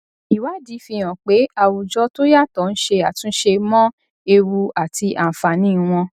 ìwádìí fi hàn pé àwùjọ tó yàtọ ń ṣe àtúnṣe mọ ewu àti àǹfààní wọn